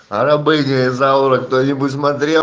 рабыня изаура кто-нибудь смотрел